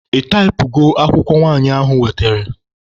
Ị taịpụgo akwụkwọ nwanyị ahụ wetere?